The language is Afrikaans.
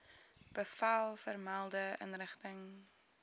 bevel vermelde inrigting